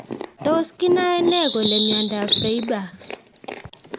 Tos kinae nee kole miondop Freiberg's